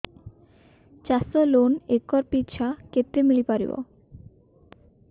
ଚାଷ ଲୋନ୍ ଏକର୍ ପିଛା କେତେ ମିଳି ପାରିବ